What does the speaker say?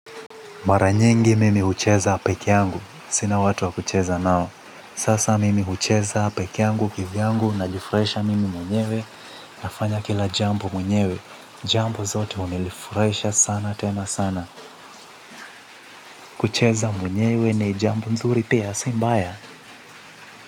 Mara nyingi mimi hucheza pekee yangu. Sina watu wa kucheza nao. Sasa mimi hucheza pekee yangu kivyangu najifurahisha mimi mwenyewe nafanya kila jambo mwenyewe. Jambo zote wamenifurahisha sana tena sana. Kucheza mwenyewe na jambo mzuri pia sii mbaya.